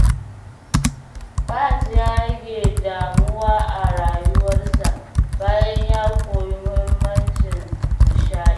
Fahad ya rage damuwa a rayuwarsa bayan ya koyi muhimmancin nishaɗi.